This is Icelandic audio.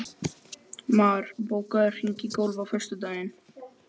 Mar, bókaðu hring í golf á föstudaginn.